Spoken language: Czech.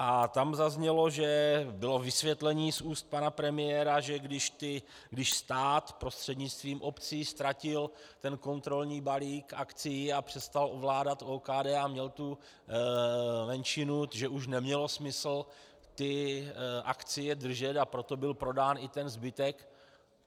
A tam zaznělo, že bylo vysvětlení z úst pana premiéra, že když stát prostřednictvím obcí ztratil ten kontrolní balík akcií a přestal ovládat OKD a měl tu menšinu, že už nemělo smysl ty akcie držet, a proto byl prodán i ten zbytek.